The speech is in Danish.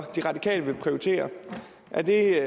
de radikale vil prioritere er